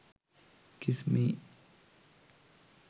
kiss me